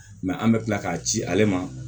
Mɛ an bɛ tila k'a ci ale ma